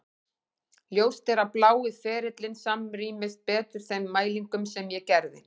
Ljóst er að blái ferillinn samrýmist betur þeim mælingum sem ég gerði.